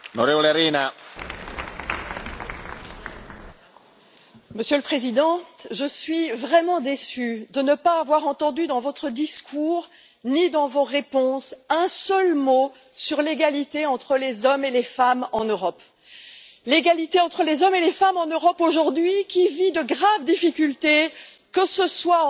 Monsieur le Président, Monsieur le Président Macron, je suis vraiment déçue de ne pas avoir entendu dans votre discours ni dans vos réponses un seul mot sur l'égalité entre les hommes et les femmes en Europe. L'égalité entre les hommes et les femmes en Europe aujourd'hui vit de graves difficultés, que ce soit